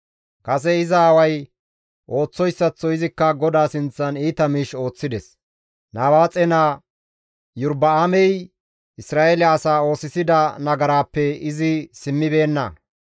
Kase iza aaway ooththoyssaththo izikka GODAA sinththan iita miish ooththides; Nabaaxe naa Iyorba7aamey Isra7eele asaa oosisida nagaraappe izi simmibeenna.